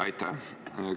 Aitäh!